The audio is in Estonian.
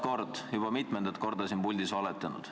Te olete juba mitu korda siin puldis valetanud.